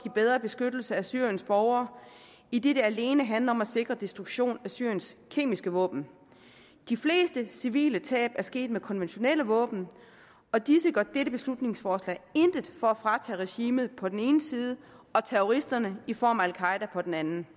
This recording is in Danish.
en bedre beskyttelse af syriens borgere idet det alene handler om at sikre en destruktion af syriens kemiske våben de fleste civile tab er sket med konventionelle våben og disse gør dette beslutningsforslag intet for at fratage regimet på den ene side og terroristerne i form af al qaeda på den anden